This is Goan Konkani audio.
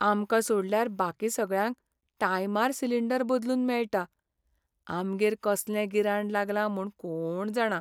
आमकां सोडल्यार बाकी सगळ्यांक टायमार सिलींडर बदलून मेळटा, आमगेर कसलें गिराण लागलां म्हूण कोण जाणा.